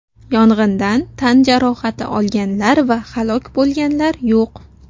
Yong‘indan tan jarohati olganlar va halok bo‘lganlar yo‘q.